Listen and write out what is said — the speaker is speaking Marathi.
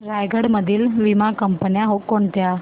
रायगड मधील वीमा कंपन्या कोणत्या